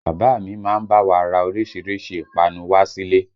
Bàbá a mi a máa bá wa ra orísìírísìí ìpápánu wá sílé